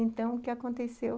Então, o que aconteceu?